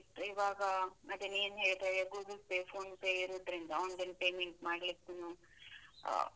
ಇವಾಗ ಅದನ್ನು ಏನ್ ಹೇಳ್ತಾರೆ, Google Pay, PhonePe ಇರುದ್ರಿಂದ online payment ಮಾಡ್ಲಿಕ್ಕೂನೂ ಆ.